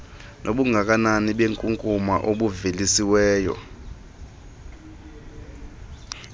nobungakanani benkunkuma obuvelisiweyo